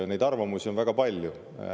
Neid arvamusi on väga palju.